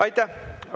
Aitäh!